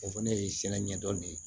O fɛnɛ ye sinɛ ɲɛdɔn de ye